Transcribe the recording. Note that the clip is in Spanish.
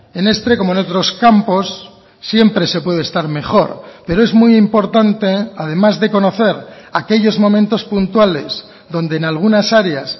en este como en otros campos siempre se puede estar mejor pero es muy importante además de conocer aquellos momentos puntuales donde en algunas áreas